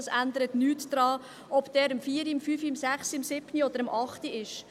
Da ändert es nichts dran, ob dieser um 16 Uhr, 17 Uhr, 18 Uhr, 19 Uhr oder um 20 Uhr ist.